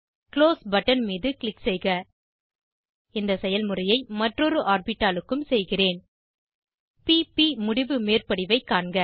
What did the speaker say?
close button மீது click செய்க இதே செயல்முறையை மற்றொரு ஆர்பிட்டாலுக்கும் செய்கிறேன் p ப் முடிவு மேற்படிவைக் காண்க